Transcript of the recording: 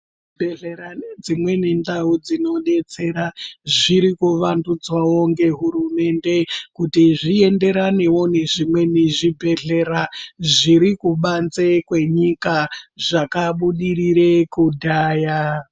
Zvibhedhlera nedzimweni ndau dzinodetsera zviri kuvandudzwawo ngehurumende kuti zviyenderanewo nezvimweniwo zvibhedhlera zviri kubanze kwenyika kwenyika zvakabudirire kudhaya.